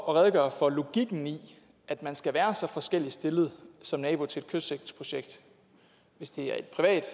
at redegøre for logikken i at man skal være så forskelligt stillet som nabo til et kystsikringsprojekt hvis det er